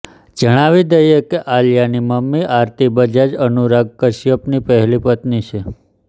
જણાવી દઇએ કે આલિયાની મમ્મી આરતી બજાજ અનુરાગ કશ્યપની પહેલી પત્ની છે